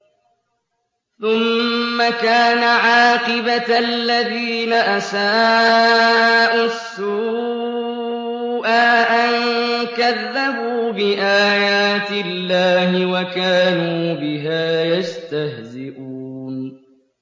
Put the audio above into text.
ثُمَّ كَانَ عَاقِبَةَ الَّذِينَ أَسَاءُوا السُّوأَىٰ أَن كَذَّبُوا بِآيَاتِ اللَّهِ وَكَانُوا بِهَا يَسْتَهْزِئُونَ